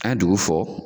An ye dugu fɔ